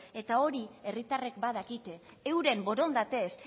eta hori herritarrek badakite euren borondatez